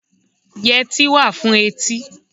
Yẹtí wà fún etí.